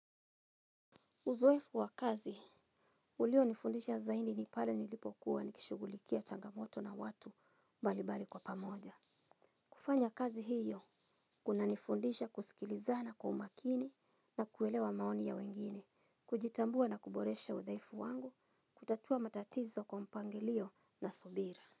Uzoefu wa kazi ulionifundisha zaidi ni pale nilipokuwa nikishughulikia changamoto na watu mbalimbali kwa pamoja. Kufanya kazi hiyo kunanifundisha kusikilizana kwa umakini na kuelewa maoni ya wengine, kujitambua na kuboresha udhaifu wangu, kutatua matatizo kwa mpangilio na subira.